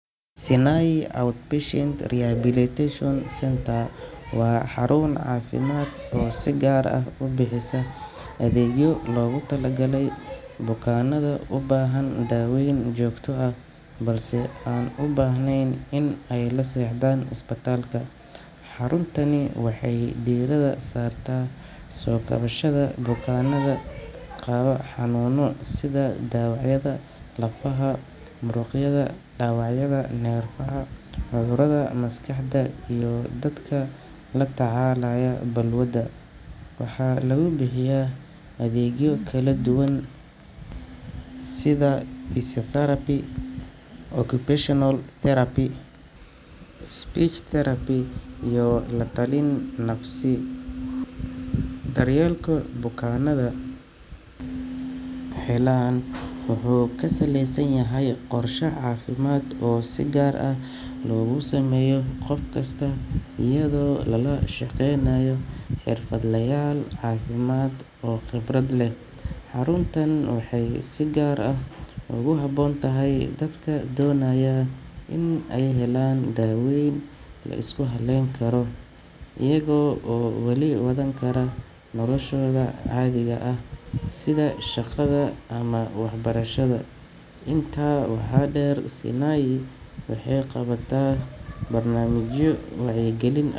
Sinai Outpatient Rehabilitation Centre waa xarun caafimaad oo si gaar ah u bixisa adeegyo loogu talagalay bukaanada u baahan daaweyn joogto ah balse aan u baahnayn in ay la seexdaan isbitaalka. Xaruntani waxay diiradda saartaa soo kabashada bukaanada qaba xanuunno sida dhaawacyada lafaha, muruqyada, dhaawacyada neerfaha, cudurrada maskaxda, iyo dadka la tacaalaya balwado. Waxaa lagu bixiyaa adeegyo kala duwan sida physiotherapy, occupational therapy, speech therapy, iyo la-talin nafsi ah. Daryeelka bukaanadu helaan wuxuu ku salaysan yahay qorshe caafimaad oo si gaar ah loogu sameeyo qof kasta iyadoo lala shaqaynayo xirfadlayaal caafimaad oo khibrad leh. Xaruntan waxay si gaar ah ugu habboon tahay dadka doonaya in ay helaan daaweyn la isku halayn karo iyaga oo weli wadan kara noloshooda caadiga ah sida shaqada ama waxbarashada. Intaa waxaa dheer, Sinai waxay qabataa barnaamijyo wacyigelin ah.